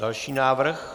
Další návrh.